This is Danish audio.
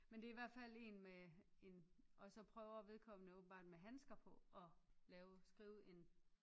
Men det er i hvert fald en med en og så prøver vedkommende åbenbart med handsker på at lave skrive en